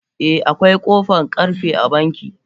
Eh akwai kofan karfe a banki.